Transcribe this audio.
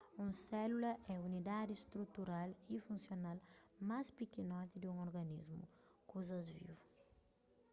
un sélula é unidadi strutural y funsional más pikinoti di un organismu kuzas vivu